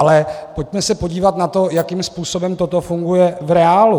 Ale pojďme se podívat na to, jakým způsobem toto funguje v reálu.